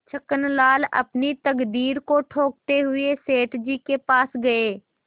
छक्कनलाल अपनी तकदीर को ठोंकते हुए सेठ जी के पास गये